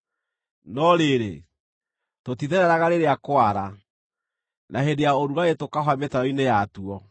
no rĩrĩ, tũtithereraga rĩrĩa kwara, na hĩndĩ ya ũrugarĩ tũkahũa mĩtaro-inĩ yatuo.